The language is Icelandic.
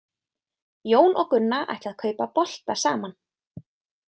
Jón og Gunna ætla að kaupa bolta saman.